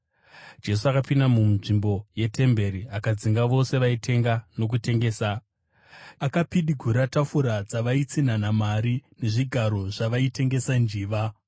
Jesu akapinda munzvimbo yetemberi akadzinga vose vaitenga nokutengesa. Akapidigura tafura dzavaitsinhanha mari nezvigaro zvavaitengesa njiva.